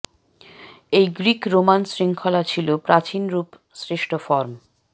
এই Greek Roman শৃঙ্খলা ছিল প্রাচীন রুপ শ্রেষ্ঠ ফর্ম